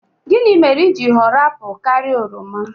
Gịnị mere i ji họrọ apụl karịa oroma?